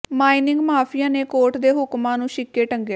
mining mafia ਨੇ court ਦੇ ਹੁਕਮਾਂ ਨੂੰ ਿਛੱਕੇ ਟੰਗਿਆ